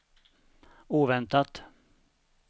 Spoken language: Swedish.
oväntat